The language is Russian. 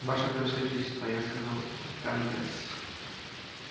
ваше превосходительство я сказал атанде-с